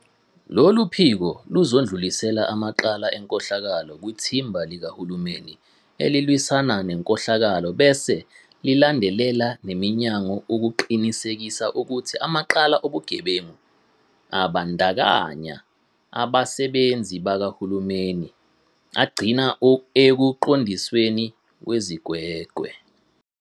Lolu phiko luzodlulisela amacala enkohlakalo kwiThimba Likahulumeni Elilwisana Nenkohlakalo bese lilandelela neminyango ukuqinisekisa ukuthi amacala obugebengu abandakanya abasebenzi bakahulumeni agcina ekuqondisweni kwezigwegwe.